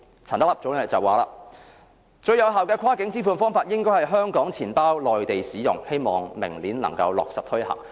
陳德霖表示，最有效的跨境支付方法，應該是香港錢包在內地使用，希望明年能夠落實推行。